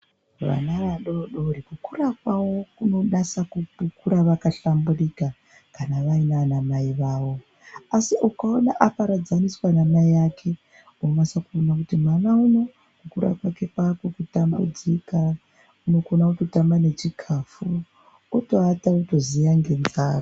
Vana vadodori kukura kwakura kunonasa kuhlamburika zvakakura vaina anamai avo. Asi ukaona aparadzaniswa namai ake unonasa kuona kuti mwana uno kukura mwake kwakwekutambudzika. Unokona kutotama nechikafu otoata wotoziya ngenzara.